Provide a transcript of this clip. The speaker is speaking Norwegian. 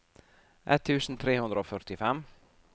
ett tusen tre hundre og førtifem